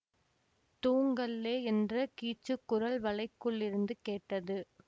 தூங்கல்லெ என்ற கீச்சுக் குரல் வளைக்குள்ளிருந்து கேட்டது